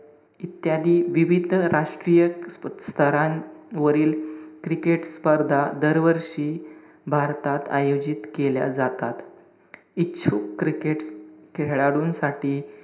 इत्यादी विविध राष्ट्रीय स्तरांवरील cricket स्पर्धा दरवर्षी भारतात आयोजित केल्या जातात. इच्छुक cricket खेळाडूंसाठी,